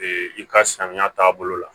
i ka saniya taabolo la